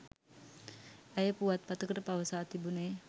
ඇය පුවත්පතකට පවසා තිබුනේ